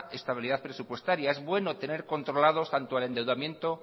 estabilidad presupuestaria es bueno tener controlado tanto al endeudamiento